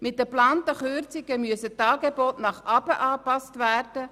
Mit den geplanten Kürzungen müssen die Angebote nach unten angepasst werden.